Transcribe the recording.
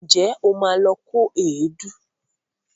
Ǹjẹ́ o ma lọ kó èédú?